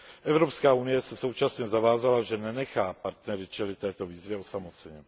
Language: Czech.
Evropská unie se současně zavázala, že nenechá partnery čelit této výzvě osamoceně.